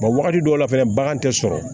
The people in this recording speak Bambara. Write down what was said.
wagati dɔw la fɛnɛ bagan tɛ sɔrɔ